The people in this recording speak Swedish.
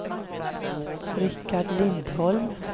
Richard Lindholm